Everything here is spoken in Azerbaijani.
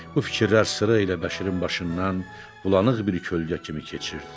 Bu fikirlər sıra ilə Bəşirin başından bulanıq bir kölgə kimi keçirdi.